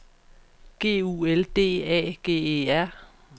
G U L D A G E R